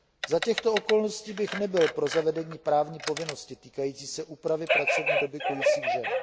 Za těchto okolností bych nebyl pro zavedení právní povinnosti týkající se úpravy pracovní doby kojících žen.